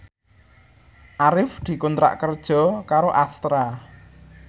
Arif dikontrak kerja karo Astra